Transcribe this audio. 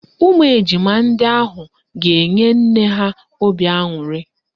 Ụmụ ejima ndị ahụ ga-enye nne ha obi aṅụrị